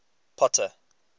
potter